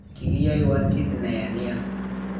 Kikiyoiwon kit neya nia